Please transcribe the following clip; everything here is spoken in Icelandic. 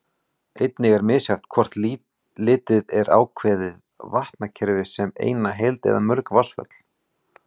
Einnig er misjafnt hvort litið er á ákveðin vatnakerfi sem eina heild eða mörg vatnsföll.